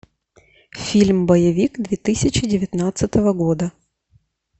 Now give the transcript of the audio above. фильм боевик две тысячи девятнадцатого года